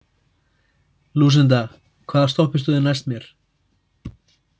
Lúsinda, hvaða stoppistöð er næst mér?